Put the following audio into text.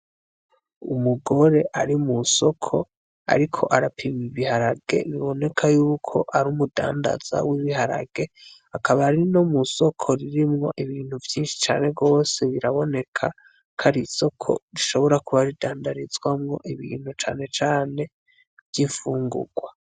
Umugore ari mu soko, ariko arapima ibiharage biboneka yuko ar'umudandaza w'ibiharage, akaba ari no mu soko ririmwo ibintu vyinshi cane gose, biraboneka ko ar'isoko rishobora kuba ridandarizwamwo ibintu cane cane vy'imfungugwa.